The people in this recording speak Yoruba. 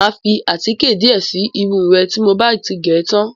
Mà á fi àtíkè díẹ̀ si irun re tí mo bá ti gẹ̀ tán.